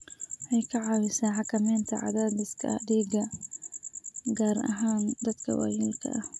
Waxay ka caawisaa xakamaynta cadaadiska dhiigga, gaar ahaan dadka waayeelka ah.